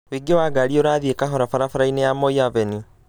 ũingĩ wa ngari urathie kahora barabara-inĩ ya moi avenue